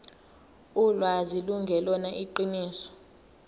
ulwazi lungelona iqiniso